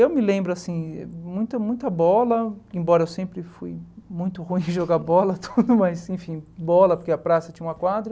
Eu me lembro, assim, muita muita bola, embora eu sempre fui muito ruim em jogar bola tudo, mas enfim, bola, porque a praça tinha uma quadra.